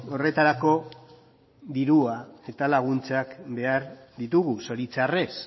horretarako dirua eta laguntzak behar ditugu zoritxarrez